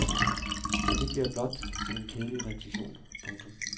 Så bliver det blot til en kedelig repetition. punktum